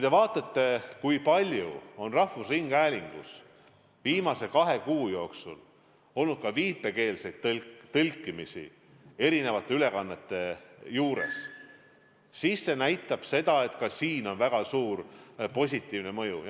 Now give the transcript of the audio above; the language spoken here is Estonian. Ja vaadake, kui palju on rahvusringhäälingus viimase kahe kuu jooksul olnud ka viipekeelset tõlkimist erinevate ülekannete puhul, ka selles on väga suur edasiliikumine.